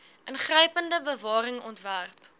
ingrypende bewaring ontwerp